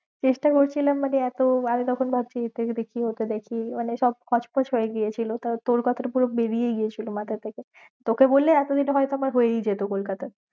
চেষ্টা করছিলাম মানে এত আমি তখন ভাবছি দেখি ওটা দেখি মানে সব হচপছ হয়েগেছিল, তারপর তর কথা টা পুরো বেরীয়েইগেছিল মাথার থেকে